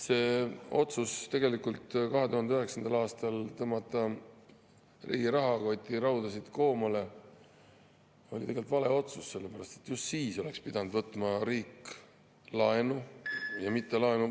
See otsus 2009. aastal tõmmata riigi rahakotiraudasid koomale oli tegelikult vale otsus, sellepärast et just siis oleks pidanud võtma riik laenu, ja mitte laenu …